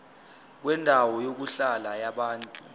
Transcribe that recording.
kwendawo yokuhlala yabantu